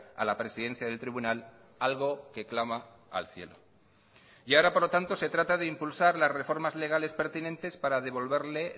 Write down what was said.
a la presidencia del tribunal algo que clama al cielo y ahora por lo tanto se trata de impulsar las reformas legales pertinentes para devolverle